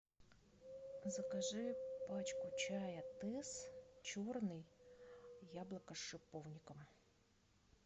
закажи пачку чая тесс черный яблоко с шиповником